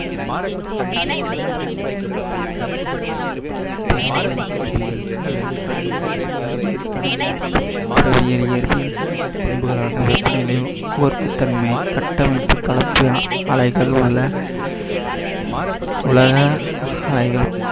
பெருங்கடல் இயற்பியல் அல்லது கடல் இயற்பியல் என்பது கடலின் இயற்பியல் பண்புகளான வெப்பநிலை, உவர்ப்புத்தன்மை கட்டமைப்பு